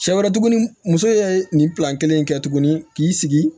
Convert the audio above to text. Sɛ wɛrɛ tuguni muso ye nin kelen in kɛ tuguni k'i sigi